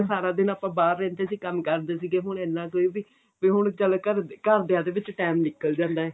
ਸਾਰਾ ਦਿਨ ਆਪਾਂ ਬਾਹਰ ਰਹਿੰਦੇ ਸੀ ਕੰਮ ਕਰਦੇ ਸੀਗੇ ਹੁਣ ਇੰਨਾ ਕ ਵੀ ਵੀ ਹੁਣ ਚੱਲ ਘਰਦੇ ਘਰਦਿਆਂ ਤੇ ਵਿੱਚ ਟੈਂਮ ਨਿੱਕਲ ਜਾਂਦਾ